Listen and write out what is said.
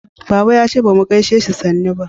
baba ya ce bamu gaishe shi sannu ba